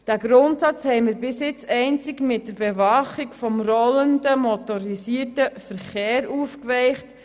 Diesen Grundsatz haben wir bis jetzt einzig mit der Bewachung des rollenden motorisierten Verkehrs aufgeweicht.